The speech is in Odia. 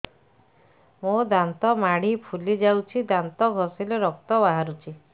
ମୋ ଦାନ୍ତ ମାଢି ଫୁଲି ଯାଉଛି ଦାନ୍ତ ଘଷିଲେ ରକ୍ତ ବାହାରୁଛି